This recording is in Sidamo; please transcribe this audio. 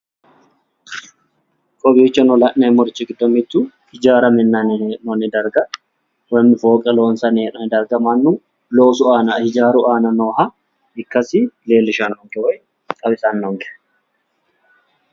kowiicho la'neemmori giddo mittu ijaara minanni hee'noonni darga woy fooqe loonsanni hee'noonni darga mannu loosu aana ijaaru aana nooha ikkasi leellishshannonke woyi xawisannonke.